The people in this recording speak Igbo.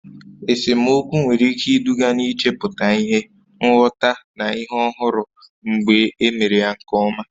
Esemokwu nwere ike iduga n'ichepụta ihe, nghọta, na ihe ọhụrụ mgbe e mere ya nke ọma.